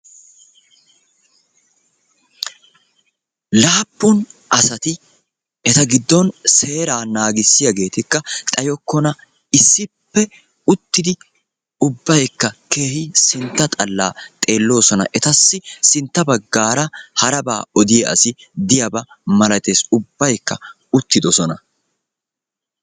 Laappun asati eta giddon seeraa naagissiyageetikka xayokkona issippe uttidi ubbaykka keehin sintta xallaa xeelloosona. Etassi sintta baggaara harabaa odiya asi ditaba malates ubbaykka uttidosona.